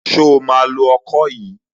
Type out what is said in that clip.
Ṣo máa lo ọkọ yìí?